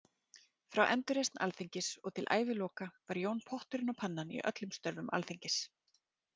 Frá endurreisn Alþingis og til æviloka var Jón potturinn og pannan í öllum störfum Alþingis.